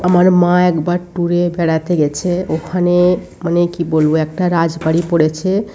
আমার মা একবার টুর - এ বেড়াতে গেছে ওখানে মানে কি বলবো একটা রাজবাড়ি পড়েছে।